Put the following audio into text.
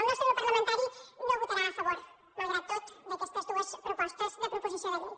el nostre grup parlamentari no votarà a favor malgrat tot d’aquestes dues propostes de proposició de llei